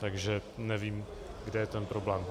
Takže nevím, kde je ten problém.